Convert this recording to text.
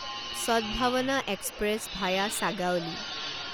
Sadbhavna express via Sagauli